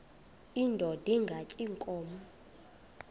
indod ingaty iinkobe